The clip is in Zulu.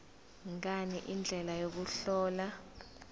ngani indlela yokuhlola